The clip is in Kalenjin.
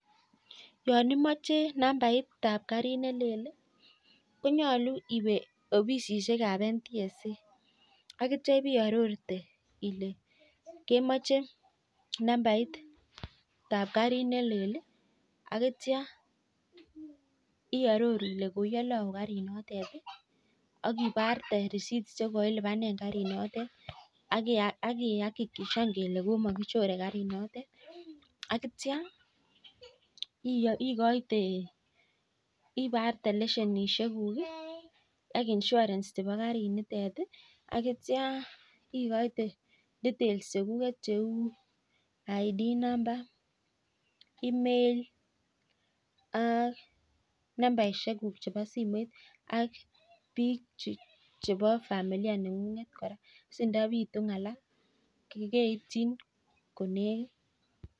Yon imache nambaitab karit nelel konyolu iwe ofisisiekab NTSA akitio iarorchi ile kemache nambaitab karit nelel. Akitio iaroru ile koiole au karinitet akiparte risitishek che koilipane karinitet. Ak iakikishan ile komakichorei karinitet. Ak iparte leisenishek ak insurence chebo karinitet akitio ikoite details chekuget cheu ID number, Email ak nambarishekuk chebo simoit ak biik chebo familia neng'ung si ndapitu ng'ala keitchi komie.